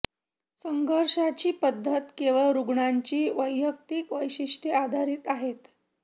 संघर्षाची पद्धती केवळ रुग्णाची वैयक्तिक वैशिष्ट्ये आधारित आहेत